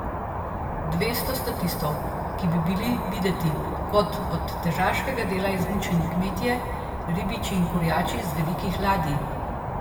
Dvesto statistov, ki bi bili videti kot od težaškega dela izmučeni kmetje, ribiči in kurjači z velikih ladij?